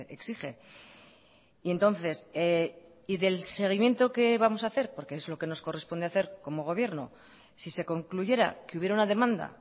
exige y entonces y del seguimiento qué vamos a hacer porque es lo que nos corresponde hacer como gobierno si se concluyera que hubiera una demanda